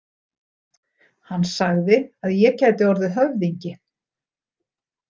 Hann sagði að ég gæti orðið höfðingi